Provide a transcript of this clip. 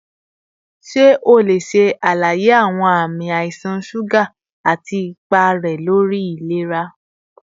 Ṣe o le ṣe alaye awọn ami aisan suga ati ipa rẹ lori ilera?